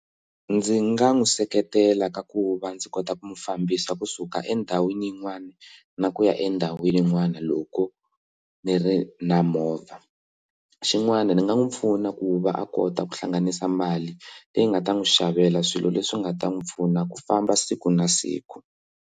Ndzi nga n'wi seketela ka ku va ndzi kota ku mufambisi wa kusuka endhawini yin'wana na ku ya endhawini yin'wana loko ni ri na movha xin'wana ni nga n'wi pfuna ku va a kota ku hlanganisa mali leyi nga ta n'wi xavela swilo leswi nga ta n'wi pfuna ku famba siku na siku.